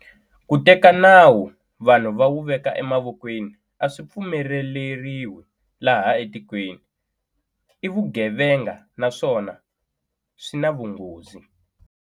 Ku teka nawu vanhu va wu veka emavokweni a swi pfumeleriwi laha tikweni. I vugevenga naswona swi na vunghozi.